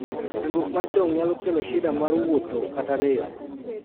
chandruok mar chong nyalo kelo shida mar wuotho kata rem